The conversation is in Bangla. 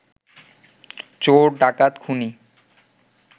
চোর ডাকাত খুনী